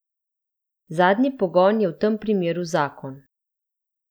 Zadnji pogon je v tem primeru zakon.